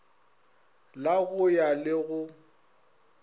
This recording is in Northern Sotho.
la go ya le go